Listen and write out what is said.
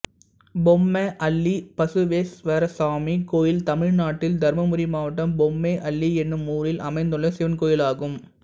பொம்மே அள்ளி பசுவேஸ்வரசாமி கோயில் தமிழ்நாட்டில் தர்மபுரி மாவட்டம் பொம்மே அள்ளி என்னும் ஊரில் அமைந்துள்ள சிவன் கோயிலாகும்